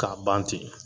K'a ban ten